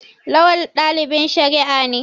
Lawal dalibin shari'a ne.